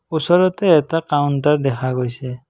ওচৰতে এটা কাউণ্টাৰ দেখা গৈছে।